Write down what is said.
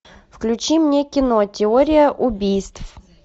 включи мне кино теория убийств